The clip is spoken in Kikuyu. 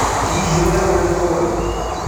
Hihi wee ũrĩ mũrwaru?